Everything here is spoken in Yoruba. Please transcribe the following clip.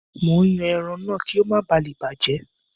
Mò ń yan ẹran náà kí ó má balè bàjẹ́.